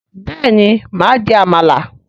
béèni ma jẹ àmàlà.